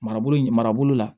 Marabolo in marabolo la